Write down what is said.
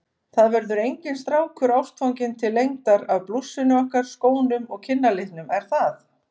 Það verður enginn strákur ástfanginn til lengdar af blússunni okkar, skónum og kinnalitnum, er það?